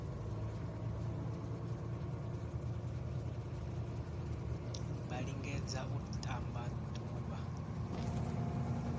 vha lingedze u ṱamba ḓuvha